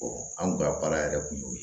anw ka baara yɛrɛ kun y'o ye